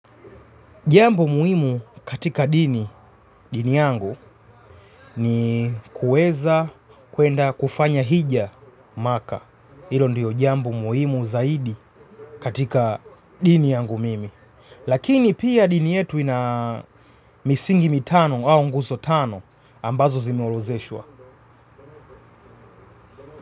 Jambo muhimu katika dini, dini yangu, ni kuweza kuenda kufanya hija maka. Hilo ndiyo jambo muhimu zaidi katika dini yangu mimi. Lakini pia dini yetu ina misingi mitano au nguzo tano ambazo zimeorodheshwa.